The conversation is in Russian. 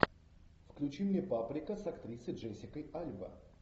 включи мне паприка с актрисой джессика альба